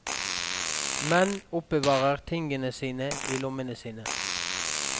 Menn oppbevarer tingene sine i lommene sine.